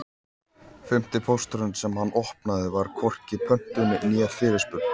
Fimmti pósturinn sem hann opnaði var hvorki pöntun né fyrirspurn.